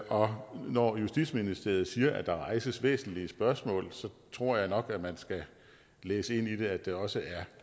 og når justitsministeriet siger at der rejses væsentlige spørgsmål tror jeg nok at man skal læse ind i det at det også er